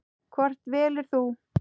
Hvort velur þú?